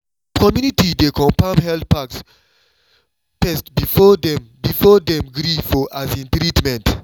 some community dey confirm health facts first before dem before dem gree for um treatment.